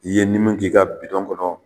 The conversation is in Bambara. I ye minnu k'i ka bidɔn kɔnɔ